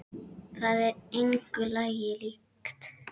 Þetta er engu lagi líkt.